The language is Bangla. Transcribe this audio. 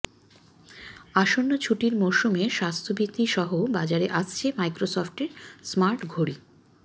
আসন্ন ছুটির মরসুমে স্বাস্থ্যবিধি সহ বাজারে আসছে মাইক্রোসফটের স্মার্ট ঘড়ি